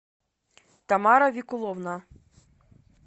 тамара викуловна